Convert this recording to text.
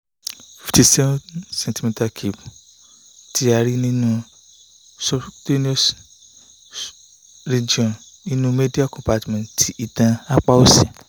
fifty seven centimeter cube ti a ri ninu subcutaneous regoin ninu media compartment ti itan apa osi